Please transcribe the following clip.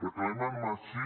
reclamem així